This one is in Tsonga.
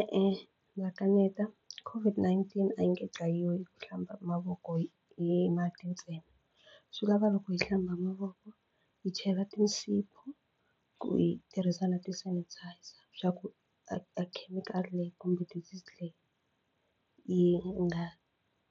E-e ndza kaneta COVID-19 a yi nge dlayiwi ku hlamba mavoko hi mati ntsena swi lava loko hi hlamba mavoko hi chela tinsipho ku yi tirhisa na ti-sanitizer swa ku a a khemikhali leyi kumbe disease leyi yi nga